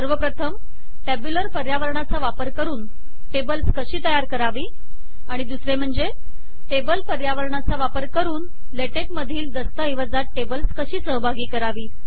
सर्वप्रथम टॅब्यूलर पर्यावरणाचा वापर करुन टेबल्स् कशी तयार करावी आणि दुसरे म्हणजे टेबल पर्यावरणाचा वापर करुन लेटेकमधील दस्तऐवजात टेबल्स कशी सहभागी करावी